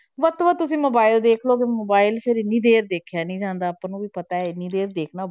ਵੱਧ ਤੋਂ ਵੱਧ ਤੁਸੀਂ mobile ਦੇਖ ਲਓ mobile ਫਿਰ ਇੰਨੀ ਦੇਰ ਦੇਖਿਆ ਨੀ ਜਾਂਦਾ, ਆਪਾਂ ਨੂੰ ਵੀ ਪਤਾ ਇੰਨੀ ਦੇਰ ਦੇਖਣਾ।